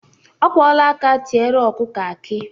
Ọ kwụla aka tiere ọkụkụ akị